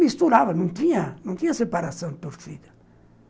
Misturava, não tinha não tinha separação de torcida.